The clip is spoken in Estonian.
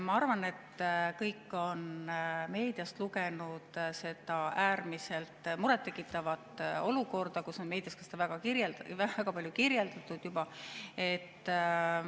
Ma arvan, et kõik on meediast lugenud seda äärmiselt murettekitavat olukorda, mida on meedias väga palju kirjeldatud juba.